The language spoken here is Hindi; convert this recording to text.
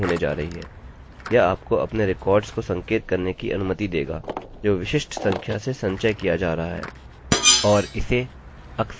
यह आपको अपने रिकॉर्ड्स को संकेत करने की अनुमति देगा जो विशिष्ट संख्या से संचय किया जा रहा है